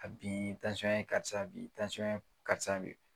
A bin ye karisa bin karisa bin